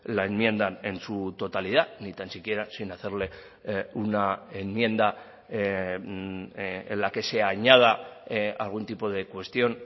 la enmienda en su totalidad ni tan siquiera sin hacerle una enmienda en la que se añada algún tipo de cuestión